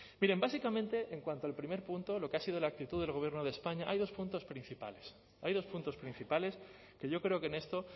miren básicamente en cuanto al primer punto lo que ha sido la actitud del gobierno de españa hay dos puntos principales hay dos puntos principales que yo creo que en esto